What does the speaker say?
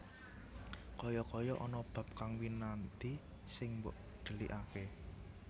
Kaya kaya ana bab kang winadi sing mbok dhelikaké